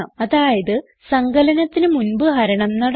അതായത് സങ്കലനത്തിന് മുൻപ് ഹരണം നടന്നു